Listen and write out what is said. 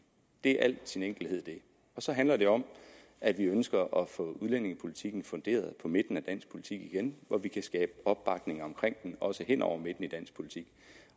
det er i al sin enkelhed det og så handler det om at vi ønsker at få udlændingepolitikken funderet på midten af dansk politik igen hvor vi kan skabe opbakning omkring den også hen over midten i dansk politik